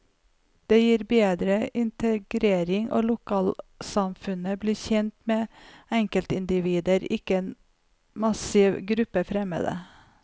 Det gir bedre integrering, og lokalsamfunnet blir kjent med enkeltindivider, ikke en massiv gruppe fremmede.